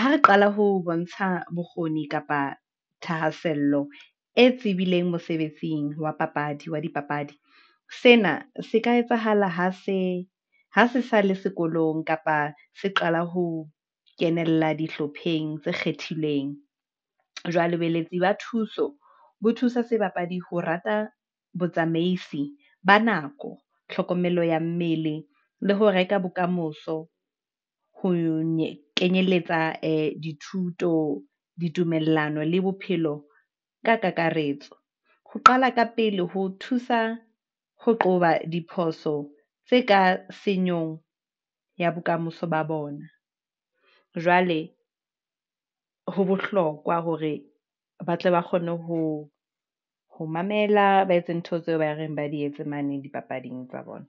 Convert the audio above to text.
ha re qala ho bontsha bokgoni kapa thahasello e tsebileng mosebetsing wa dipapadi, sena se ka etsahala ha se sa le sekolong, kapa se qala ho kenella dihlopheng tse kgethilweng. Jwale boeletsi ba thuso bo thusa sebapadi ho rata botsamaisi ba nako, tlhokomelo ya mmele, le ho reka bokamoso ho kenyeletsa ee dithuto, ditumellano le bophelo, ka kakaretso. Ho qala ka pele ho thusa ho qoba diphoso tse ka senyong ya bokamoso ba bona. Jwale ho bohlokwa hore ba tle ba kgone ho mamela, ba etse ntho tseo ba reng ba di etse mane dipapading tsa bona.